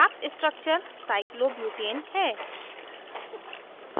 प्राप्त structure cyclobutane cyclobutane है